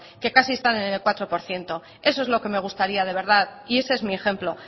que casi están en el cuatro por ciento eso es lo que me gustaría de verdad y ese es mi ejemplo